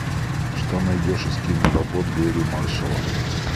что найдешь из киноработ гэрри маршалла